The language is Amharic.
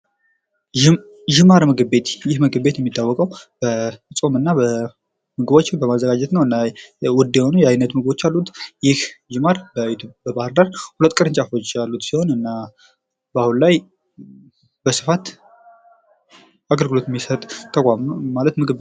ይህም ዥማር ምግብ ቤት ይህ ምግብ ቤት የሚታወቀዉ በፆም እና ምግቦችን በማዘጋጀት ነዉ። እና ዉድ የሆኑ አይነት ምግቦች አሉት። ይህ ዥማር በባህርዳር ሁለት ቅርንጫፎች ያሉት ሲሆን እና በአሁን ላይ በስፋት አገልግሎት የሚሰጥ ተቋም ነዉ።